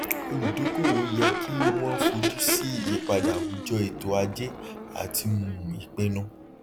olùdókòwò yẹ kí wón fojú sí ìyípadà àwùjọ ètò ajé àti um ìpinnu